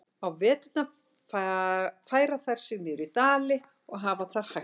Á veturna færa þær sig niður í dali og hafa þar hægt um sig.